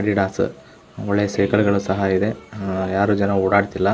Adidas ಒಳ್ಳೆ ಸೈಕಲ್ಗ ಳು